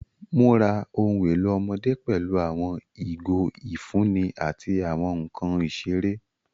Mura ohun elo ọmọde pẹlu awọn igo ifunni ati awọn nkan isere.